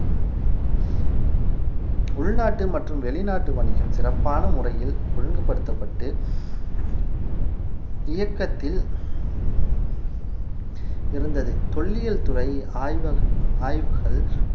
உள்நாட்டு மற்றும் வெளிநாட்டு வணிகம் சிறப்பான முறையில் ஒழுங்குபடுத்தப்பட்டு இயக்கத்தில் இருந்தது தொல்லியல்துறை ஆய்வக~ ஆய்வுகள்